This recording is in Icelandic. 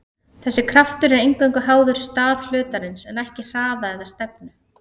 þessi kraftur er eingöngu háður stað hlutarins en ekki hraða eða stefnu